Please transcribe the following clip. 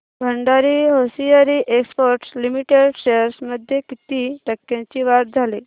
Bhandari hosiery exports limited shares मध्ये किती टक्क्यांची वाढ झाली